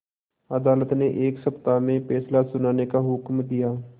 अदालत ने एक सप्ताह में फैसला सुनाने का हुक्म दिया